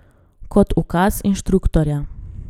Kot ukazi inštruktorja.